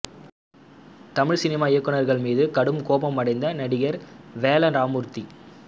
Tamil cinema இயக்குனர்கள் மீது கடும் கோபமடைந்த நடிகர் வேல ராமமூர்த்தி